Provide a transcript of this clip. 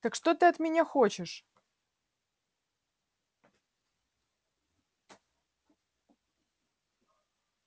так что ты от меня хочешь